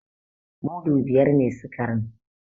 Mudu biyar ne sikarin.